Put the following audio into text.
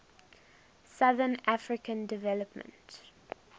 southern african development